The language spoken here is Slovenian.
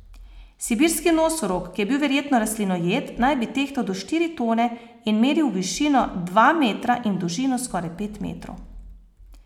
Sibirski nosorog, ki je bil verjetno rastlinojed, naj bi tehtal do štiri tone in meril v višino dva metra in v dolžino skoraj pet metrov.